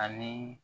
Ani